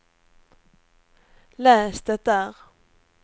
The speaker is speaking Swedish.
läs det där